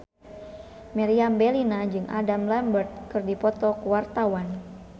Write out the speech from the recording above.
Meriam Bellina jeung Adam Lambert keur dipoto ku wartawan